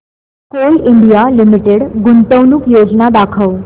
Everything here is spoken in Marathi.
कोल इंडिया लिमिटेड गुंतवणूक योजना दाखव